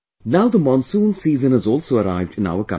now the monsoon season has also arrived in our country